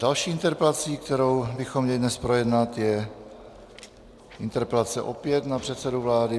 Další interpelací, kterou bychom měli dnes projednat, je interpelace opět na předsedu vlády.